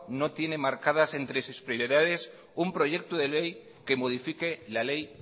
no tiene marcadas entre sus prioridades un proyecto de ley que modifique la ley